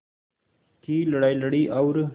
की लड़ाई लड़ी और